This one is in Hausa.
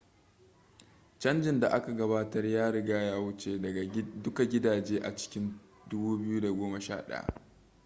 canjin da aka gabatar ya riga ya wuce duka gidaje a cikin 2011